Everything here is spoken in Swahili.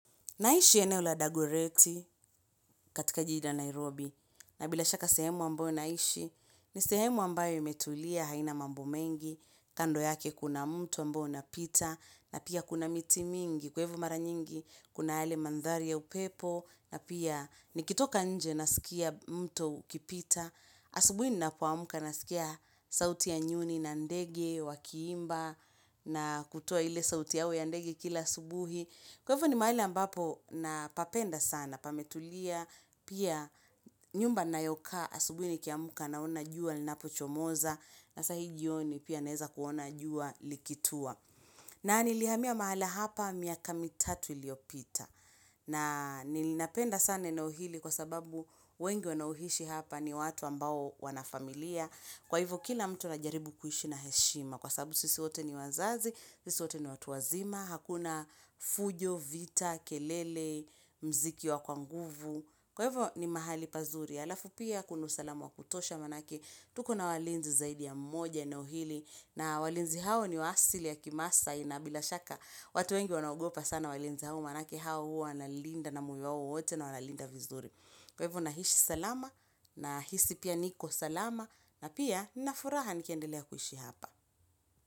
Naishi eneo la dagoreti katika jiji la Nairobi, na bila shaka sehemu ambayo naishi, ni sehemu ambayo imetulia haina mambo mengi, kando yake kuna mto ambao unapita, na pia kuna miti mingi, kwa hivyo mara nyingi, kuna yale mandhari ya upepo, na pia nikitoka nje nasikia mto ukipita, asubuhi ninapoamka nasikia sauti ya nyuni na ndege, wakiimba, na kutoa ile sauti yao ya ndege kila asubuhi. Kwa hivyo ni mahali ambapo na papenda sana, pametulia, pia nyumba nayokaa asubuni nikiamuka naona jua, linapo chomoza, na sahi jioni pia neza kuona jua likitua. Na nilihamia mahala hapa miaka mitatu iliyopita. Na nilinapenda sana eneo ili kwa sababu wengi wanaoishi hapa ni watu ambao wana familia. Kwa hivyo kila mtu na jaribu kuishi na heshima Kwa sababu sisi wote ni wazazi, sisi wote ni watu wazima Hakuna fujo, vita, kelele, mziki wa kwanguvu Kwa hivyo ni mahali pazuri Alafu pia kuna usalama wa kutosha manake tuko na walinzi zaidi ya mmoja eneo hili na walinzi hao niwa asili ya kimaasai na bila shaka watu wengi wanagopa sana walinzi hao manake hao huwa wanalinda na moyo wao wote na wana linda vizuri Kwa hivyo na hishi salama na hisi pia niko salama na pia na furaha nikendelea kuhishi hapa.